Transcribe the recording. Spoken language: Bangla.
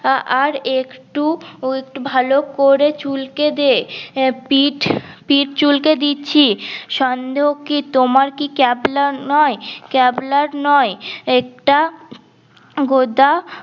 আর একটু ভাল করে চুলকে দে পিট চুলকে দিচ্ছি সন্দেহ কি তোমার কি ক্যাবলা নয় ক্যাবলা নই একটা উম গোদা